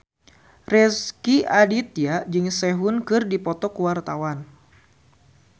Rezky Aditya jeung Sehun keur dipoto ku wartawan